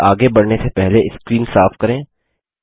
फिर से आगे बढ़ने से पहले स्क्रीन साफ करें